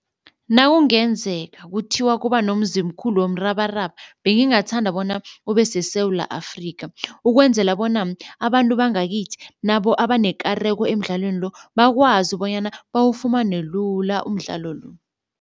Nawungenzeka kuthiwa kuba nomzimkhulu womrabaraba bengingathanda bona ube seSewula Afrika ukwenzela bona abantu bangakithi nabo abanekareko emidlalweni lo bakwazi bonyana bawufumane lula umdlalo lo.